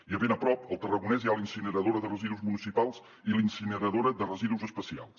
i a ben a prop al tarragonès hi ha la incineradora de residus municipals i la incineradora de residus especials